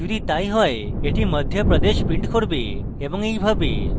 যদি তাই হয় এটি madhya pradesh print করবে এবং এইভাবে